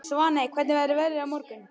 Svaney, hvernig verður veðrið á morgun?